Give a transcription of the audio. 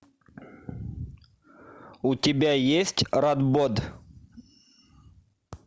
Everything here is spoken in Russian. у тебя есть радбод